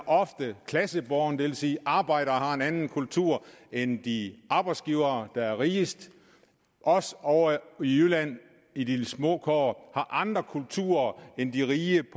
ofte klassebåret det vil sige at arbejdere har en anden kultur end de arbejdsgivere der er rigest os ovre i jylland i de små kår har andre kulturer end de rige